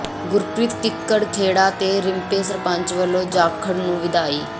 ਗੁਰਪ੍ਰੀਤ ਕਿੱਕਰ ਖੇੜਾ ਤੇ ਰਿੰਪੇ ਸਰਪੰਚ ਵੱਲੋਂ ਜਾਖੜ ਨੂੰ ਵਧਾਈ